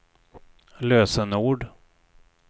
lösenord